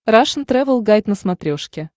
рашн тревел гайд на смотрешке